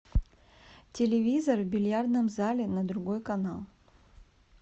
телевизор в бильярдном зале на другой канал